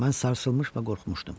Mən sarsılmış və qorxmuşdum.